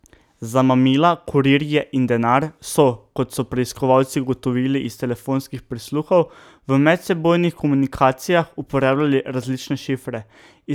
Za mamila, kurirje in denar so, kot so preiskovalci ugotovili iz telefonskih prisluhov, v medsebojnih komunikacijah uporabljali različne šifre.